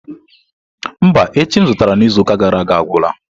Mba, echi m zụtara izuụka gara aga agwụla.